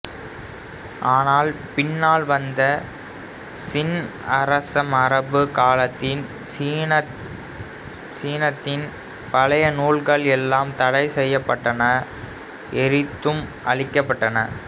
ஆனால் பின்னால் வந்த சின் அரசமரபு காலத்தில் சீனத்தின் பழைய நூல்கள் எல்லாம் தடை செய்யப்பட்டன எரித்தும் அழிக்கப்பட்டன